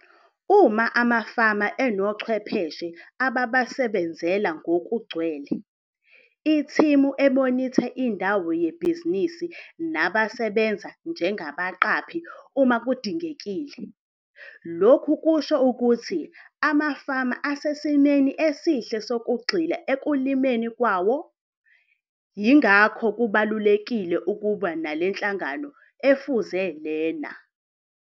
Uma amafama anochwepheshe ababasebenzela ngokugcwele, ithimu emonitha indawo yebhizinisi nabasebenza njengabaqaphi uma kudingekile, lokhu kusho ukuthi amafama asesimeni esihle sokugxila ukulimeni kwawo. Yingakho kubalulekile ukuba nale nhlangano efuze lena.